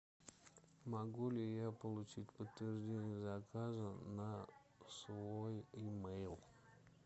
могу ли я получить подтверждение заказа на свой имейл